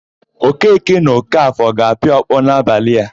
Okeke na Ọkafọ ga-apịa ọkpọ n'abalị a.